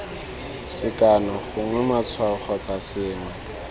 sekano gongwe matshwao kgotsa sengwe